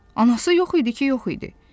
Anası yox idi ki, yox idi.